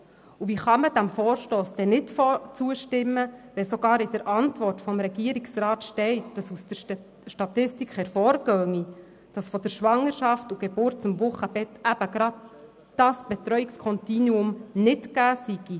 Wie kann man diesem Vorstoss nicht zustimmen, wenn sogar in der Antwort des Regierungsrats zu lesen ist, dass gemäss Statistik in der Zeit von Schwangerschaft, Geburt bis Wochenbett eben gerade dieses Betreuungskontinuum nicht gegeben ist?